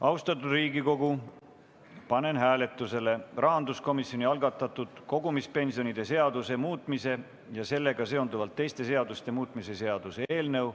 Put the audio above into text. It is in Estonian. Austatud Riigikogu, panen hääletusele rahanduskomisjoni algatatud kogumispensionide seaduse muutmise ja sellega seonduvalt teiste seaduste muutmise seaduse eelnõu.